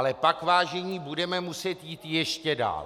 Ale pak, vážení, budeme muset jít ještě dál.